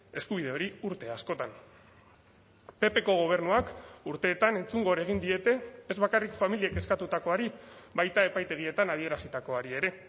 eskubide hori urte askotan ppko gobernuak urteetan entzungor egin diete ez bakarrik familiek eskatutakoari baita epaitegietan adierazitakoari ere